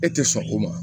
E tɛ sɔn o ma